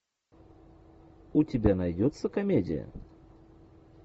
у тебя найдется комедия